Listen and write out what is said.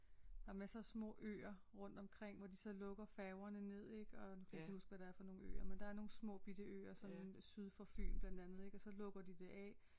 Der er masser små øer rundt omkring hvor de så lukker færgerne ned ik og nu kan jeg ikke lige huske hvad det er for nogle øer men der er nogle små bitte øer som syd for Fyn blandt andet ik og så lukker de det af